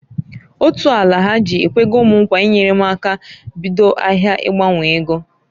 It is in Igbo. Otu Alahaji ekwego m nkwa inyere m aka bido ahịa ịgbanwo ego.